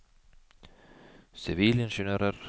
sivilingeniører